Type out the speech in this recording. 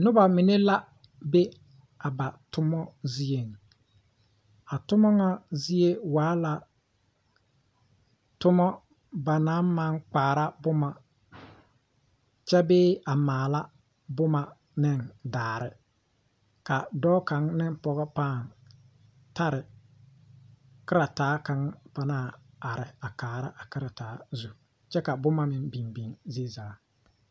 Noba mine la be a ba toma zieŋ a toma ŋa zie waa la toma ba naŋ maŋ kpaara boma kyɛ bee a maala boma ne daare ka dɔɔ kaŋ ne pɔge kaŋ pãã tare karataa kaŋ a are kaara a karataa zu kyɛ ka boma biŋ biŋ zie zaa.